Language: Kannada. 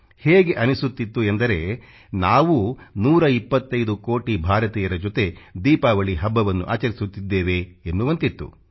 ಹೇಗೆ ಅನ್ನಿಸುತ್ತಿತ್ತು ಎಂದರೆ ನಾವೂ 125 ಕೋಟಿ ಭಾರತೀಯರ ಜೊತೆ ದೀಪಾವಳಿ ಹಬ್ಬವನ್ನು ಆಚರಿಸುತ್ತಿದ್ದೇವೆ ಎನ್ನುವಂತಿತ್ತು